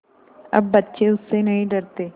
अब बच्चे उससे नहीं डरते